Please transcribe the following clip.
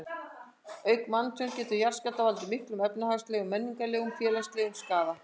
Auk manntjóns geta jarðskjálftar valdið miklum efnahagslegum, menningarlegum og félagslegum skaða.